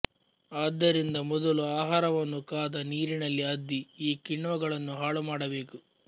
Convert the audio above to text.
ಆದ್ದರಿಂದ ಮೊದಲು ಆಹಾರವನ್ನು ಕಾದ ನೀರಿನಲ್ಲಿ ಅದ್ದಿ ಈ ಕಿಣ್ವಗಳನ್ನು ಹಾಳುಮಾಡಬೇಕು